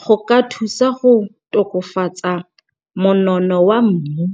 go ka thusa go tokafatsa monono wa mmu.